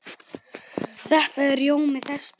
Þetta er rjómi þess besta.